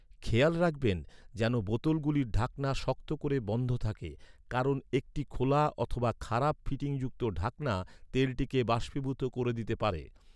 খেয়াল রাখবেন, যেন বোতলগুলির ঢাকনা শক্ত করে বন্ধ থাকে, কারণ একটি খোলা অথবা খারাপ ফিটিংযুক্ত ঢাকনা তেলটিকে বাষ্পীভূত করে দিতে পারে।